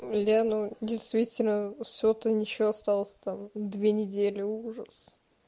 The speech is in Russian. блядь ну действительно всего-то ничего осталось там две недели ужас